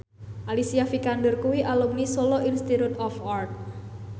Alicia Vikander kuwi alumni Solo Institute of Art